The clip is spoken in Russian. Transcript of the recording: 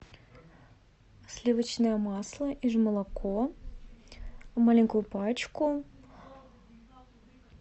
сливочное масло и молоко маленькую пачку